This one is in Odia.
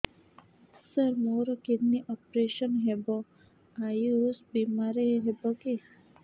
ସାର ମୋର କିଡ଼ନୀ ଅପେରସନ ହେବ ଆୟୁଷ ବିମାରେ ହେବ କି